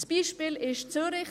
Das Beispiel ist Zürich.